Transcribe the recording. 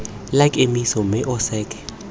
la kemiso mme o seke